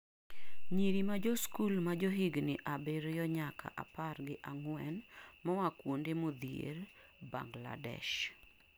nyiri majosikul majohigni abirio nyaka apar gi ang'wen, moa kuonde modhier bangladesh